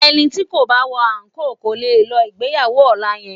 Ẹni tí kò bá wọ àńkò kò lè lọ ìgbéyàwó ọ̀la yẹn